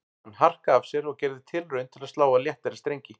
Hann harkaði af sér og gerði tilraun til að slá á léttari strengi